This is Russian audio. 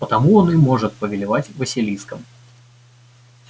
потому он и может повелевать василиском